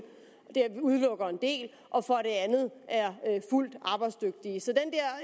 og det udelukker en del og for det andet er fuldt arbejdsdygtige så det